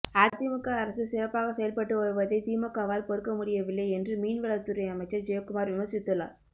அதிமுக அரசு சிறப்பாக செயல்பட்டு வருவதை திமுகவால் பொறுக்க முடியவில்லை என்று மீன்வளத்துறை அமைச்சர் ஜெயக்குமார் விமர்சித்துள்ளார்